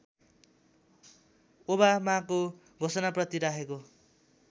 ओबामाको घोषणाप्रति राखेको